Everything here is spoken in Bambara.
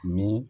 Ni